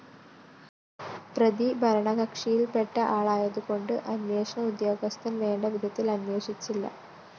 പ്രതി ഭരണകക്ഷിയില്‍പ്പെട്ട ആളായതുകൊണ്ട് അന്വേഷണ ഉദ്യോഗസ്ഥന്‍ വേണ്ടവിധത്തില്‍ അന്വേഷിച്ചില്ല